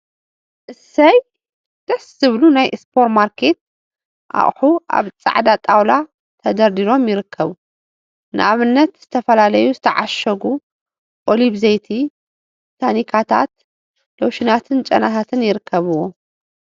እሰይ! ደስ ዝብሉ ናይ ሱፐር ማርኬት አቁሑ አብ ፃዕዳ ጣውላ ተደርዲሮም ይርከቡ፡፡ ንአብነት ዝተፈላለዩ ዝተዓሸጉ ኦሊቭ ዘይት፣ ታካታት፣ ሎሽናትን ጨናታትን ይርከቡዎም፡፡